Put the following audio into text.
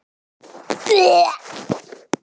Þín dóttir, Anna Sigrún.